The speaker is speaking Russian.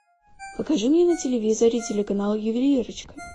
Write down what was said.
покажи мне на телевизоре телеканал ювелирочка